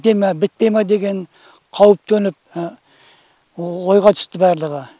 біте ме бітпей ме деген қауіп төніп ойға түсті барлығы